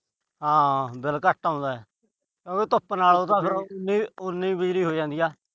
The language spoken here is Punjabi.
ਹਾਂ। ਬਿੱਲ ਘੱਟ ਆਉਂਦਾ। ਧੁੱਪ ਨਾਲ ਫਿਰ ਉਨੀ ਹੀ ਬਿਜਲੀ ਹੋ ਜਾਂਦੀ ਏ।